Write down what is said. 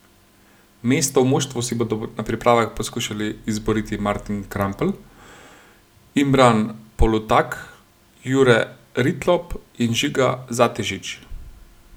Mesto v moštvu si bodo na pripravah poskušali izboriti Martin Krampelj, Imran Polutak, Jure Ritlop in Žiga Zatežič.